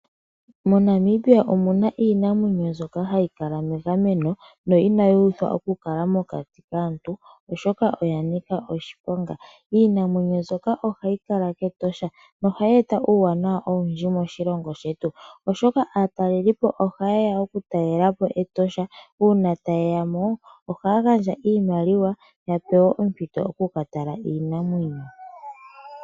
MoNamibia omuna iinamwenyo mbyoka hayi kala megameno no inaaayi thwa okukala mokati kaantu oshoka oyanika oshiponga, iinamwenyo mbika ohayi kala kEtosha nohayi eta uuwanawa owundji moshilongo shetu oshoka aatalelipo oha yeya okutalelapo Etosha uuna tayey mo ohaya gandja iimaliwa yapewe ompito yokuka tala iinamwenyo.